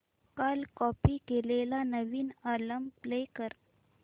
काल कॉपी केलेला नवीन अल्बम प्ले कर